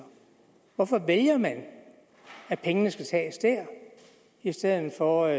hvorfor vælger man at pengene skal tages der i stedet for